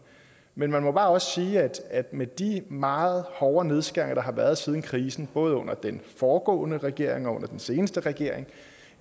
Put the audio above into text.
men man må også bare sige at med de meget hårde nedskæringer der har været siden krisen både under den foregående regering og under den seneste regering